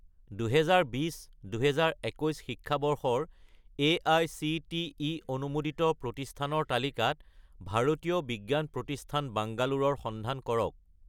2020 - 2021 শিক্ষাবৰ্ষৰ এআইচিটিই অনুমোদিত প্ৰতিষ্ঠানৰ তালিকাত ভাৰতীয় বিজ্ঞান প্ৰতিষ্ঠান বাংগালোৰ ৰ সন্ধান কৰক